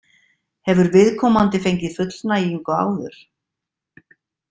Hefur viðkomandi fengið fullnægingu áður?